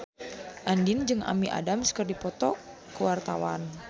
Andien jeung Amy Adams keur dipoto ku wartawan